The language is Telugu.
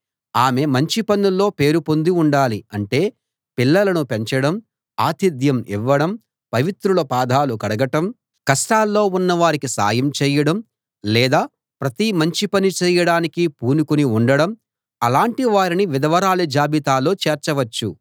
ఆమె మంచి పనుల్లో పేరు పొంది ఉండాలి అంటే పిల్లలను పెంచడం ఆతిథ్యం ఇవ్వడం పవిత్రుల పాదాలు కడగడం కష్టాల్లో ఉన్నవారికి సాయం చేయడం లేదా ప్రతి మంచి పనీ చేయడానికి పూనుకుని ఉండడం అలాటి వారిని విధవరాళ్ళ జాబితాలో చేర్చవచ్చు